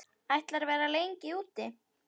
Ætlarðu að vera lengi úti?